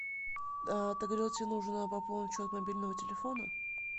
ты говорила тебе нужно пополнить счет мобильного телефона